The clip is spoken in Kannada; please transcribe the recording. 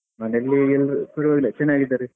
ಮನೆಯಲ್ಲಿ ಈಗ ಎಲ್ರು ಪರ್ವಾಗಿಲ್ಲ ಎಲ್ಲಾ ಚೆನ್ನಾಗಿದ್ದಾರೆ.